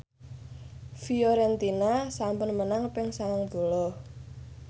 Fiorentina sampun menang ping sangang puluh